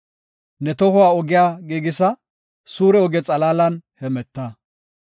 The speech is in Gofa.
Ne tohuwa ogiya giigisa; suure oge xalaalan hemeta.